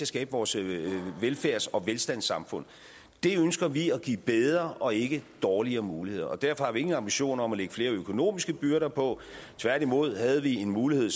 skabe vores velfærds og velstandssamfund det ønsker vi at give bedre og ikke dårligere muligheder derfor har vi ingen ambitioner om at lægge flere økonomiske byrder på tværtimod havde vi mulighed